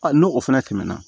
n'o fana tɛmɛna